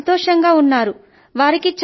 వారు చాలా సంతోషం గా ఉన్నారు